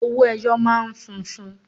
Owó ẹyọ máa ń funfun.